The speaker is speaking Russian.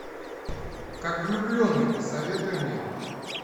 как влюбленный посоветуй мне